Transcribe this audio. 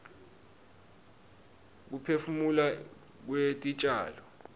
kuphefumula kwetitjalo